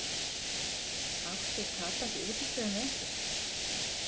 Átti Tadas í útistöðum við einhvern?